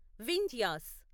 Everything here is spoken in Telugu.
వింధ్యాస్